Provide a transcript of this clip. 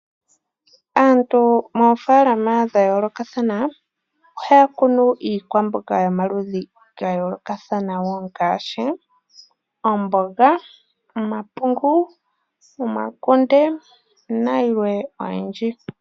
Aantu moofaalama dha yoolokathana ohaya kunu iikwamboga yo maludhi ga yoolokathana wo ngaashi omboga, omapungu, omakunde na yilwe oyindji.